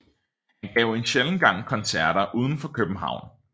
Han gav en sjælden gang koncerter udenfor København